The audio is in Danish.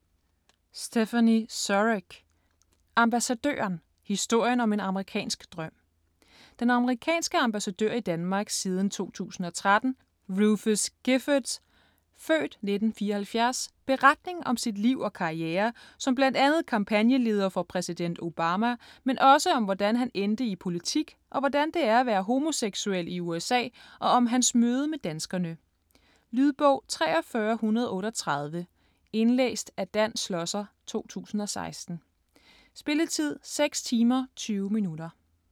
Surrugue, Stéphanie: Ambassadøren: historien om en amerikansk drøm Den amerikanske ambassadør i Danmark siden 2013, Rufus Giffords (f. 1974) beretning om sit liv og karriere, som bl.a. kampagneleder for præsident Obama, men også om hvordan han endte i politik og hvordan det er at være homoseksuel i USA og om hans møde med danskerne. Lydbog 43138 Indlæst af Dan Schlosser, 2016. Spilletid: 6 timer, 20 minutter.